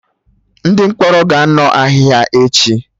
Ndị mkpọrọ ga-anọ ahịhịa echi